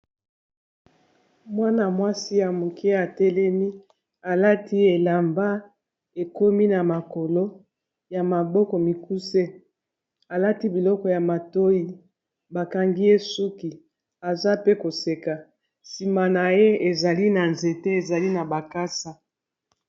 Mwana-mwasi ya moke atelemi alati elamba ekomi na makolo ya maboko mikuse , alati biloko ya matoi bakangi ye suki aza pe koseka sima na ye ezali na nzete ezali na makasa.